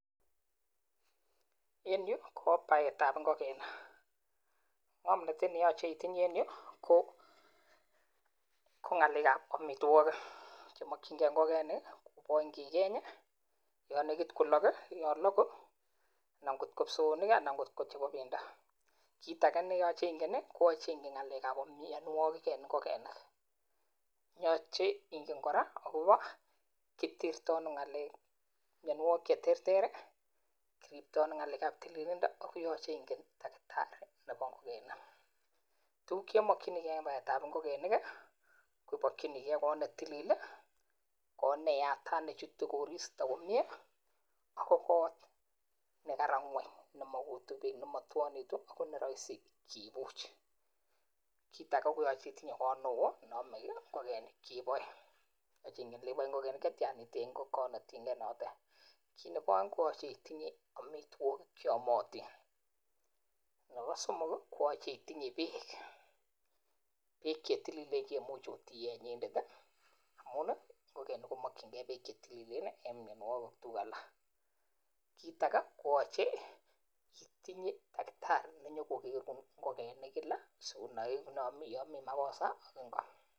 En yu ko baet ab ngongenik. Ng'om ne mache itinye en yu, ko ng'alek ab amitwokik che makchinge ngongenik. Kit age ne imache inai ko ng'alek ab mianwagik en ngogaek. Yache ingen kora ele kitirto ano ng'alek ab mianwagik che terter, tililindo ak takitari nebo ngogaek. Tuguk che imakchini ke en ngogaek ko koot ne tilil o ne yatat, chutu koristo komie ago kot ne ma utu ng'weny, ago ne rahisi kebirchi.